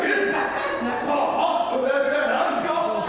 Mən rahat ola bilərəm.